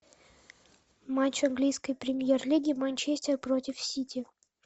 матч английской премьер лиги манчестер против сити